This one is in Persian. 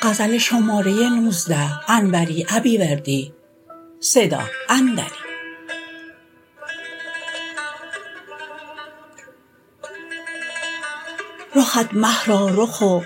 رخت مه را رخ و